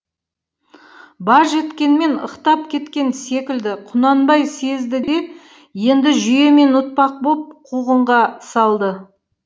баж еткенмен ықтап кеткен секілді құнанбай сезді де енді жүйемен ұтпақ боп қуғынға салды